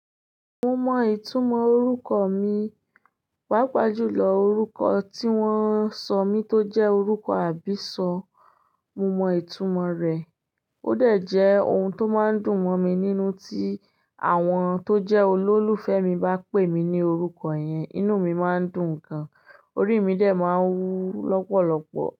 Mo mọ ìtumọ̀ orúkọ mi, pàápàá jùlọ orúkọ tí wọ́n sọ mí tó jẹ́ orúkọ àbísọ, mo mọ ìtumọ rẹ̀. Ó dà jẹ́ ohun tó máa ń dùn mọ́ mi nínú tí àwọn tó jẹ́ olólùfẹ́ mi bá pè mí ní orúkọ yẹn, inú mi má ń dùn gan, orí mi dẹ má ń wú lọ́pọ̀lọ́pọ̀.